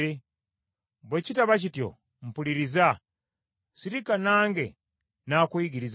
Bwe kitaba kityo, mpuliriza; sirika nange nnaakuyigiriza amagezi.”